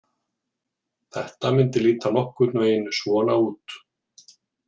Þetta myndi líta nokkurn veginn svona út.